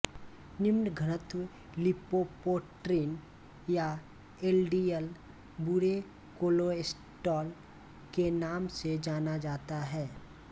निम्नघनत्व lipoprotein या LDL बुरे cholesterol के नाम से जाना जाता है